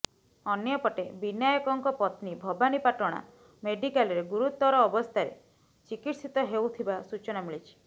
ଅନ୍ୟପଟେ ବିନାୟକଙ୍କ ପତ୍ନୀ ଭବାନୀପାଟଣା ମେଡିକାଲରେ ଗୁରତୁର ଅବସ୍ଥାରେ ଚିକିତ୍ସିତ ହେଉଥିବା ସୂଚନା ମିଳିଛି